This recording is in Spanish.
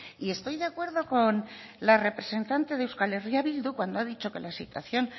y estoy de acuerdo con la representante de euskal herria bildu cuando ha dicho que la situación